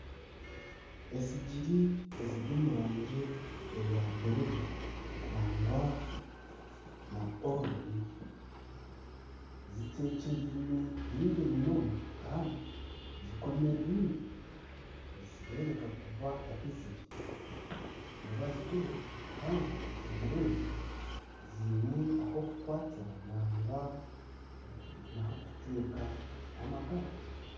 Esigiri eziri omu rangi eya buru nagwa na orengi zitekyereine nyingi munonga kandi zikomererine nizireebeka kuba ahi ziri nibaziguza kandi esigiri ezi ziine ah'okukwatira nagwa naho okuteeka amakara.